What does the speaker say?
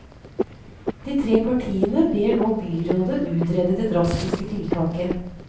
De tre partiene ber nå byrådet utrede det drastiske tiltaket.